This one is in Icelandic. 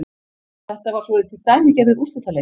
Þetta var svolítið dæmigerður úrslitaleikur